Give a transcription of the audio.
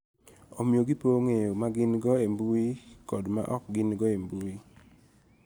Omiyo, gipogo ng�eyogi ma gin-go e mbui kod ma ok gin-go e mbui.